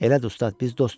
Elədir ustad, biz dostuq.